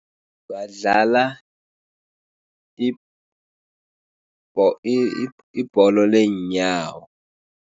Badlala ibholo leenyawo.